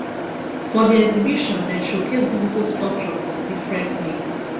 for di exhibition dem showcase beautiful sculpture from differen place